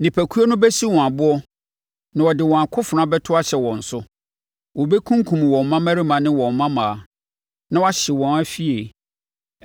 Nipakuo no bɛsi wɔn aboɔ na wɔde wɔn akofena bɛto ahyɛ wɔn so. Wɔbɛkunkum wɔn mmammarima ne wɔn mmammaa na wɔahye wɔn afie.